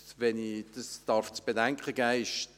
Wenn ich dies zu bedenken geben darf: